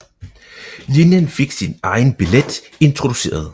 Linjen fik sin egen billet introduceret